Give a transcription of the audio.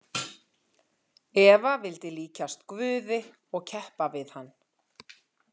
Eva vildi líkjast guði og keppa við hann